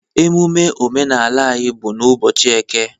Emume omenala anyị bụ ụbọchị eke